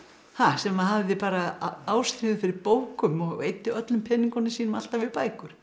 sem hafði bara ástríðu fyrir bókum og eyddi öllum peningunum sínum alltaf í bækur